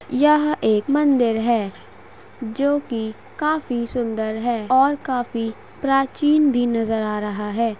यह एक मंदिर है जोकि काफी सुंदर है और काफी प्राचीन भी नजर आ रहा है।